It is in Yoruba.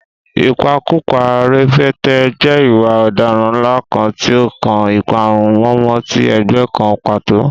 Ìpakúpa Rẹpẹtẹ jẹ́ ìwà ọ̀daràn ńlá kan tí ó kan ìparun mọ̀ọ́mọ̀ ti ẹgbẹ́ kan pàtó.